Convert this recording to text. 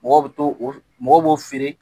Mɔgɔw bɛ to mɔgɔ b'o feere